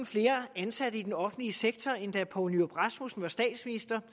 flere ansatte i den offentlige sektor end da socialdemokraten poul nyrup rasmussen var statsminister